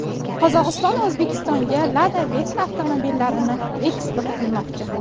Qozog‘iston O‘zbekistonga Lada Vesta avtomobillarini eksport qilmoqchi.